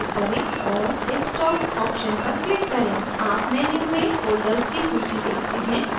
आप menu में folders की सूची देखते हैं जहाँ आपकी file सेव कर सकते हैं